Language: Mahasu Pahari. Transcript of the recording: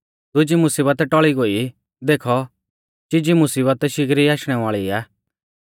दुजी मुसीबत टौल़ी गोई देखौ चीजी मुसीबत शिगरी आशणै वाल़ी आ